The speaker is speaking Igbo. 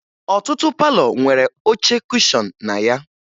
Ọtụtụ palọ nwere oche kushọn na ya